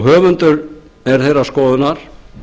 höfundur þessarar greinar sem